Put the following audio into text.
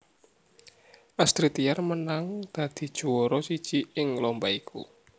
Astrid Tiar menang dadi juwara siji ing lomba iku